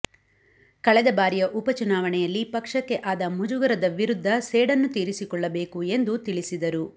ಕಳೆದ ಬಾರಿಯ ಉಪಚುನಾವಣೆಯಲ್ಲಿ ಪಕ್ಷಕ್ಕೆ ಆದ ಮುಜುಗರದ ವಿರುದ್ಧ ಸೇಡನ್ನು ತೀರಿಸಿಕೊಳ್ಳಬೇಕು ಎಂದು ತಿಳಿಸಿದರು